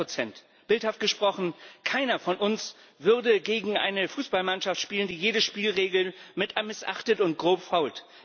200 Bildhaft gesprochen Keiner von uns würde gegen eine Fußballmannschaft spielen, die alle Spielregeln missachtet und grob fault.